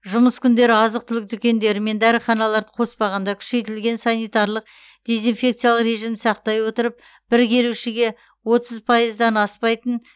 жұмыс күндері азық түлік дүкендері мен дәріханаларды қоспағанда күшейтілген санитариялық дезинфекциялық режимді сақтай отырып бір келушіге отыз пайыздан аспайтын